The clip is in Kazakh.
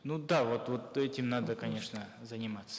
ну да вот вот этим надо конечно заниматься